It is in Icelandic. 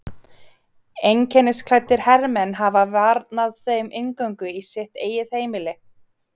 Einkennisklæddir hermenn hafa varnað þeim inngöngu í sitt eigið heimili.